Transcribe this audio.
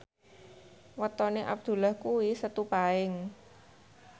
wetone Abdullah kuwi Setu Paing